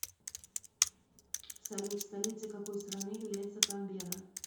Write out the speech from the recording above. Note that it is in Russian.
салют столицей какой страны является канберра